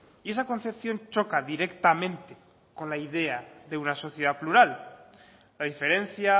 y esa concepción choca directamente con la idea de una sociedad plural la diferencia